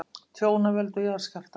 Tjón af völdum jarðskjálfta